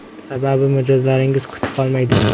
Sababi mijozlaringiz kutib qolmaydi.